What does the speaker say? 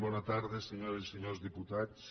bona tarda senyores i senyors diputats